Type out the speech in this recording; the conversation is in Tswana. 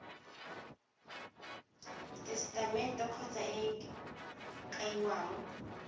tesetamente kgotsa e e kaiwang